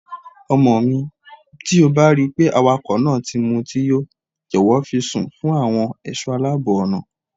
Ọmọmi, tí o bá ripé awakọ̀ náà ti mutí yó, jọ̀wọ́ fi í sùn fún àwọn ẹ̀ṣọ́ aláàbọ̀ ọ̀nà.